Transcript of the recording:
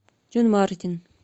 джон мартин